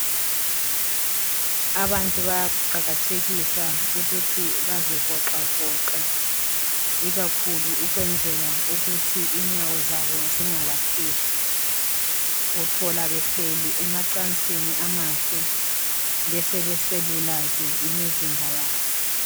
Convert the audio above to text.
Abantu bayakuqakathekisa ukuthi bazivoxa voxe, ikakhulu ukwenzela ukuthi inyawo zabo zingabahluphi. Uthola behleli emacansini amahle besebeselula ke imizimba yabo.